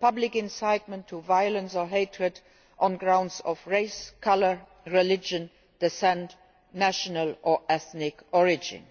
public incitement to violence or hatred on grounds of race, colour, religion, descent, or national or ethnic origin.